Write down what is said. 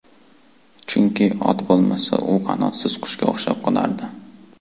Chunki, ot bo‘lmasa, u qanotsiz qushga o‘xshab qolardi.